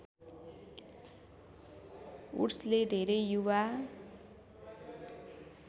वुड्सले धेरै युवा